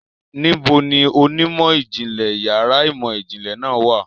Níbo ni onímọ̀-ìjìnlẹ̀ yàrá ìmọ̀-ìjìnlẹ̀ náà wà?